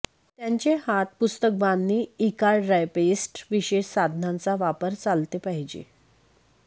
त्यांचे हात पुस्तकबांधणी इ कार ड्राय पेस्ट विशेष साधनांचा वापर चालते पाहिजे